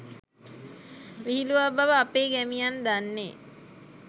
විහිළුවක් බව අපේ ගැමියන් දන්නේ